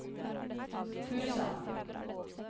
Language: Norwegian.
Fusa